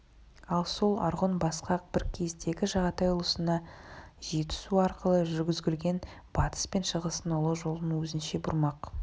ал сол арғұн басқақ бір кездегі жағатай ұлысына жетісу арқылы жүргізілген батыс пен шығыстың ұлы жолын өзінше бұрмақ